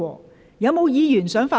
是否有議員想發言？